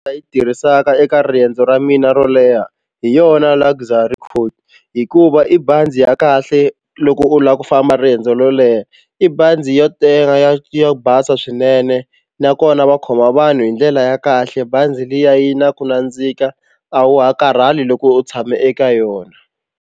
Nga yi tirhisaka eka riendzo ra mina ro leha hi yona Luxy Coach hikuva i bazi ya kahle loko u lava ku famba riendzo ro leha i bazi yo tenga ya yo basa swinene nakona va khoma vanhu hi ndlela ya kahle bazi liya yi na ku nandzika a wa ha karhali loko u tshame eka yona.